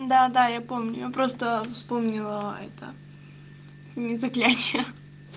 да да я помню я просто вспомнила это не заклятие